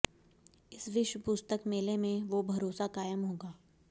इस विश्व पुस्तक मेले में वो भरोसा कायम होगा